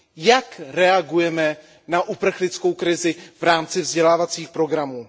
Jak reagujeme na uprchlickou krizi v rámci vzdělávacích programů?